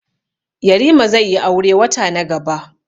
Yarima zaiyi aure wata na gaba.